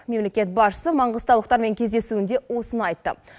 мемлекет басшысы маңғыстаулықтармен кездесуінде осыны айтты